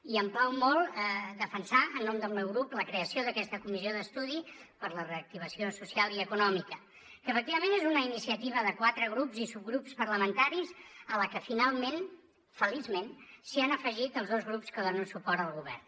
i em plau molt defensar en nom del meu grup la creació d’aquesta comissió d’estudi per a la reactivació social i econòmica que efectivament és una iniciativa de quatre grups i subgrups parlamentaris a què finalment feliçment s’hi han afegit els dos grups que donen suport al govern